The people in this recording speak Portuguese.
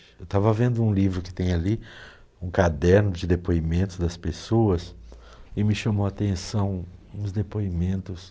Eu estava vendo um livro que tem ali, um caderno de depoimentos das pessoas, e me chamou a atenção, uns depoimentos...